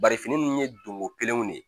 Bari fini ninnu ye donko kelenw de ye